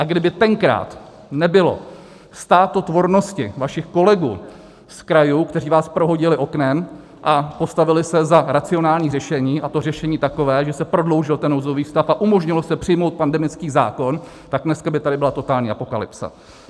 A kdyby tenkrát nebylo státotvornosti vašich kolegů z krajů, kteří vás prohodili oknem a postavili se za racionální řešení, a to řešení takové, že se prodloužil ten nouzový stav a umožnilo se přijmout pandemický zákon, tak dneska by tady byla totální apokalypsa.